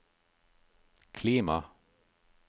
klima